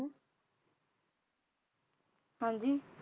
ਹਾਂਜੀ